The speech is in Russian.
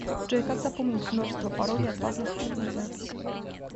джой как запомнить множество паролей от разных учетных записей